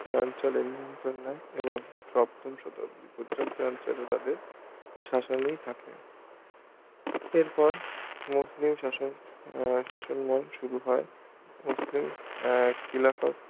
এ অঞ্চলের নিয়ন্ত্রন নেই এবং সপ্তম শতক পর্যন্ত এই অঞ্চল তাদের শাসানেই থাকে এরপর মুসলিম শাসন উম শাসন মূল শুরু হয় মুসলিম আহ খিলাফত